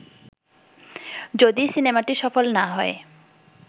যদি সিনেমাটি সফল না হয়